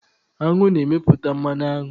Aṅụ na-emeput mmanụ aṅụ